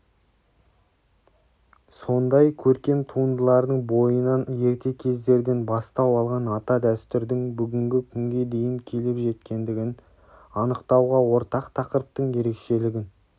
сондай көркем туындылардың бойынан ерте кездерден бастау алған ата дәстүрдің бүгінгі күнге дейін келіп жеткендігін анықтауға ортақ тақырыптың ерекшелігін